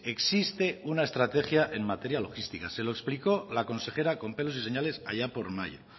existe una estrategia en materia logística se lo explicó la consejera con pelos y señales allá por mayo